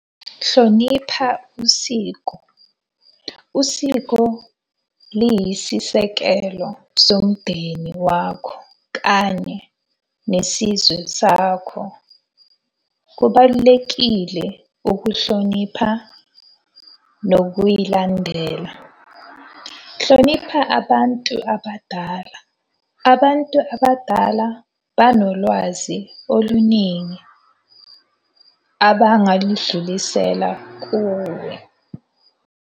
Hlonipha usiko. Usiko liyisisekelo somndeni wakho kanye nesizwe sakho. Kubalulekile ukuhlonipha nokuyilandela. Hlonipha abantu abadala. Abantu abadala banolwazi oluningi abangaludlulisela kuwe.